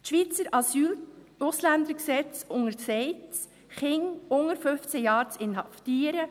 Die Schweizer Asyl-/Ausländergesetze untersagen es, Kinder unter 15 Jahren zu inhaftieren.